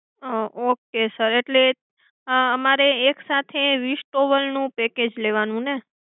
okay sir એટલે અમારે એક સાથે વીસ towel નું package લેવાનું ને?